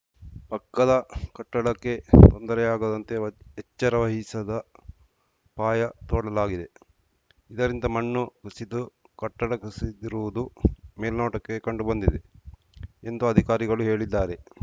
ಪಕ್ಕದ ಕಟ್ಟಡಕ್ಕೆ ತೊಂದರೆಯಾಗದಂತೆ ಎಚ್ಚರ ವಹಿಸದ ಪಾಯ ತೋಡಲಾಗಿದೆ ಇದರಿಂದ ಮಣ್ಣು ಕುಸಿದು ಕಟ್ಟಡ ಕುಸಿದಿರುವುದು ಮೇಲ್ನೋಟಕ್ಕೆ ಕಂಡುಬಂದಿದೆ ಎಂದು ಅಧಿಕಾರಿಗಳು ಹೇಳಿದ್ದಾರೆ